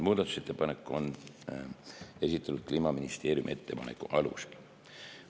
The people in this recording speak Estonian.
Muudatusettepanek on esitatud Kliimaministeeriumi ettepaneku alusel.